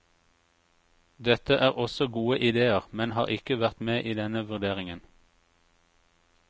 Dette er også gode idéer, men har ikke vært med i denne vurderingen.